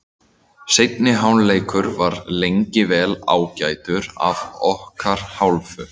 Seinni hálfleikur var lengi vel ágætur af okkar hálfu.